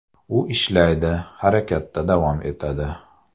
U ishlaydi, harakatda davom etadi.